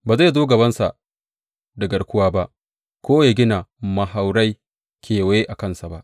Ba zai zo gabansa da garkuwa ba ko ya gina mahaurai kewaye a kansa ba.